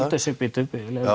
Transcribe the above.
bíddu